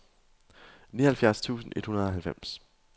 nioghalvfjerds tusind et hundrede og halvfems